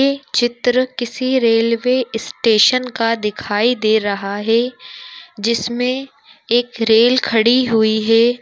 ये चित्र किसी रेल्वे स्टेशन का दिखाई दे रहा है जिसमे एक रेल खड़ी हुई है।